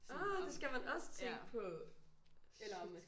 Ah det skal man også tænke på! Shit